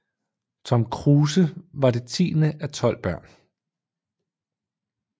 Tom Kruse var det tiende af tolv børn